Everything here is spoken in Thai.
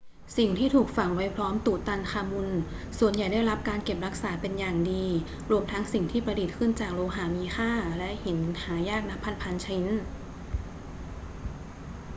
สิ่งที่ถูกฝังไว้พร้อมตุตันคามุนส่วนใหญ่ได้รับการเก็บรักษาเป็นอย่างดี รวมทั้งสิ่งที่ประดิษฐ์ขึ้นจากโลหะมีค่าและหินหายากนับพัน ๆ ชิ้น